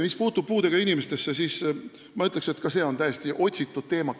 Mis puutub puudega inimestesse, siis ma ütlen, et seegi on täiesti otsitud teema.